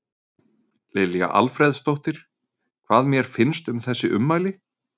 Lilja Alfreðsdóttir: Hvað mér finnst um þessi ummæli?